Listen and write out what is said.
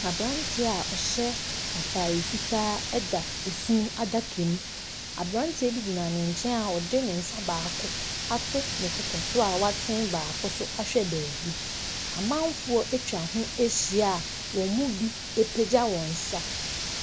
Aberanteɛ a ɔhyɛ atare fitaa da funu adaka mu. Aberanteɛ bi gyina ne nkyɛn a ɔde ne nsa baako ato ne koko so a watene baako nso ahwɛ baabi. Amanfoɔ atwa ho ahyia a wɔn mu bi apagya wɔn nsa.